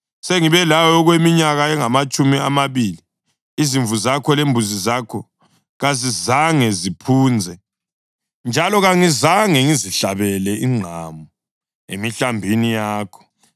Sengibe lawe okweminyaka engamatshumi amabili. Izimvu zakho lembuzi zakho kazizange ziphunze, njalo kangizange ngizihlabele inqama emihlambini yakho.